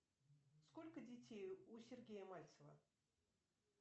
сколько детей у сергея мальцева